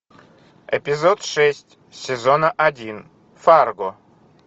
эпизод шесть сезона один фарго